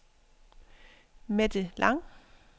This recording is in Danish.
Mette Lang